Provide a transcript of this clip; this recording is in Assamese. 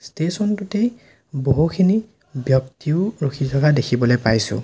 ষ্টেচন টোতেই বহুখিনি ব্যক্তিও ৰখি থকা দেখিবলে পাইছোঁ।